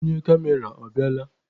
Onye kamera ọ bịala?